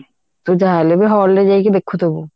ତୁ ଯାହା ହେଲେବି hall ରେ ଯାଇକି ଦେଖୁଥିବୁ